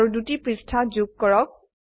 আৰু দুটি পৃষ্ঠা যোগ কৰক